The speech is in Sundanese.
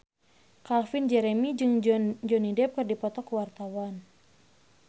Calvin Jeremy jeung Johnny Depp keur dipoto ku wartawan